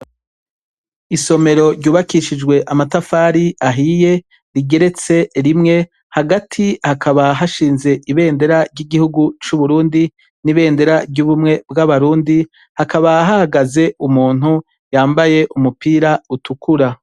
Isomero ryubakishijwe amatafari ahiye, rigeretse rimwe, hagati hakaba hashinze ibendera ry’igihugu c’uburundi n’ibendera ry’ubumwe bw’abarundi, hakaba hahagaze umuntu yambaye umupira utukura.